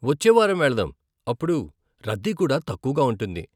వచ్చే వారం వెళదాం, అప్పుడు రద్దీ కూడా తక్కువగా ఉంటుంది.